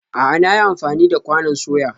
A'a, na yi amfani da kwanon soya